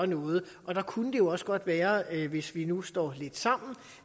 noget og det kunne jo også godt være at vi hvis vi nu står lidt sammen